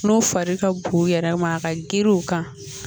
N'o fari ka bon u yɛrɛ ma ka girin u kan